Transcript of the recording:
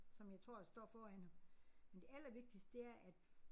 Som jeg tror står foran ham. Men det allervigtigste det er at